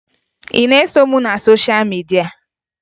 Ị na-eso m na sosha midia?